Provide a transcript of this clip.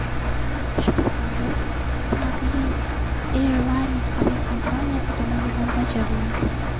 Ushbu parvoz SmartLynx Airlines aviakompaniyasi tomonidan bajariladi.